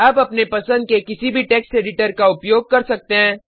आप अपने पसंद के किसी भी टेक्स्ट एडिटर का उपयोग कर सकते हैं